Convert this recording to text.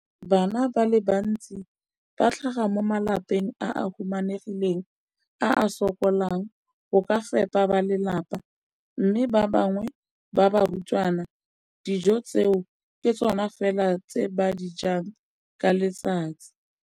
Bana ba le bantsi ba tlhaga mo malapeng a a humanegileng a a sokolang go ka fepa ba lelapa mme ba bangwe ba barutwana, dijo tseo ke tsona fela tse ba di jang ka letsatsi.